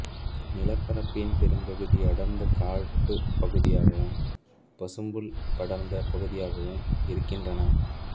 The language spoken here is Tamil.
நிலப்பரப்பின் பெரும்பகுதி அடர்ந்த காட்டுப் பகுதியாகவும் பசும்புல் படர்ந்த பகுதியாகவும் இருக்கின்றன